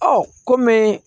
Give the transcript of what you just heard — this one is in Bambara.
Ɔ ko me